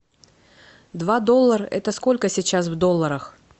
два доллара это сколько сейчас в долларах